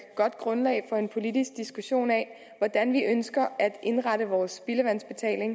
godt grundlag for en politisk diskussion af hvordan vi ønsker at indrette vores spildevandsbetaling